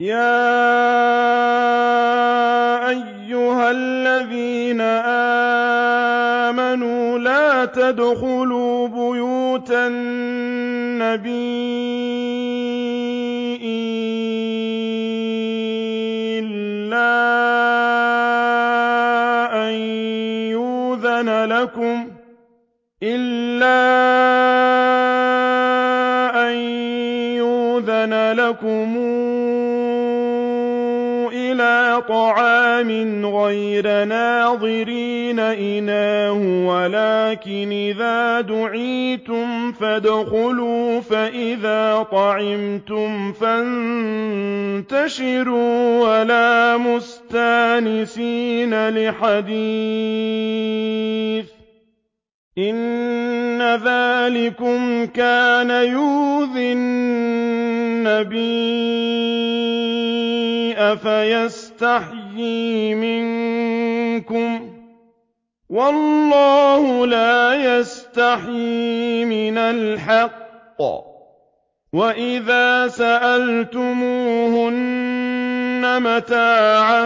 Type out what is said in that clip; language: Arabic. يَا أَيُّهَا الَّذِينَ آمَنُوا لَا تَدْخُلُوا بُيُوتَ النَّبِيِّ إِلَّا أَن يُؤْذَنَ لَكُمْ إِلَىٰ طَعَامٍ غَيْرَ نَاظِرِينَ إِنَاهُ وَلَٰكِنْ إِذَا دُعِيتُمْ فَادْخُلُوا فَإِذَا طَعِمْتُمْ فَانتَشِرُوا وَلَا مُسْتَأْنِسِينَ لِحَدِيثٍ ۚ إِنَّ ذَٰلِكُمْ كَانَ يُؤْذِي النَّبِيَّ فَيَسْتَحْيِي مِنكُمْ ۖ وَاللَّهُ لَا يَسْتَحْيِي مِنَ الْحَقِّ ۚ وَإِذَا سَأَلْتُمُوهُنَّ مَتَاعًا